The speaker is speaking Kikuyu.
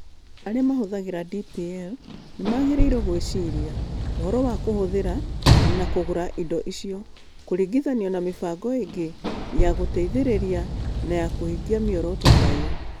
Arĩa mahũthagĩra DPL nĩ magĩrĩirũo gwĩciria ũhoro wa kũhũthĩra na kũgũra indo icio kũringithanio na mĩbango ĩngĩ ya gũteithĩrĩria na ya kũhingia mĩoroto ta ĩyo.